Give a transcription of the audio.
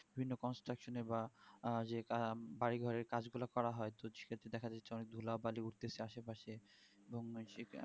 দিনে contraction বা যে বাড়ি ঘরের কাজ গুলা করা হয় সে দক্ষ বাজছে ধুলা বালি উঠতে উঠতে আসে পশে এবং